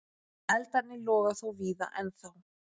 Eldarnir loga þó víða ennþá.